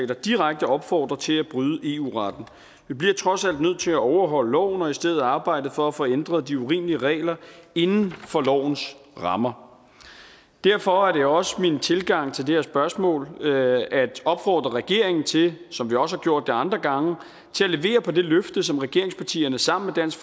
der direkte opfordrer til at bryde eu retten vi bliver trods alt nødt til at overholde loven og i stedet arbejde for at få ændret de urimelige regler inden for lovens rammer derfor er det også min tilgang til det her spørgsmål at opfordre regeringen til som vi også har gjort det andre gange at levere på det løfte som regeringspartierne sammen med dansk